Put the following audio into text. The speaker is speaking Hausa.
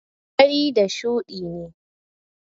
fari da shuɗi ne.